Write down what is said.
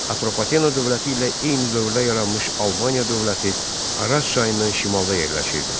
Atropatena dövləti ilə eyni dövrdə yaranmış Albaniya dövləti Araz çayından şimalda yerləşirdi.